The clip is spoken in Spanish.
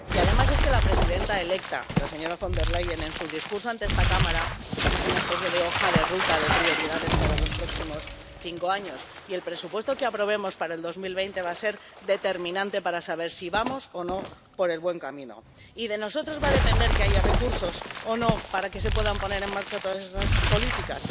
Y, además, es que la presidenta electa, la señora von der Leyen, en su discurso ante esta Cámara hizo una especie de hoja de ruta de prioridades para los próximos cinco años, y el presupuesto que aprobemos para 2020 va a ser determinante para saber si vamos o no por el buen camino. Y de nosotros va a depender que haya recursos o no para que se puedan poner en marcha todas esas políticas.